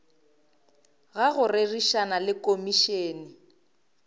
ga go rerišana le komišene